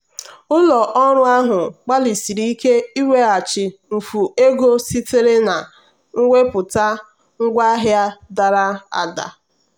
ụlọ ọrụ ahụ gbalịsiri ike ịweghachi mfu ego sitere na mwepụta ngwaahịa dara ada.